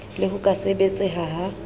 le ho ka sebetseha ha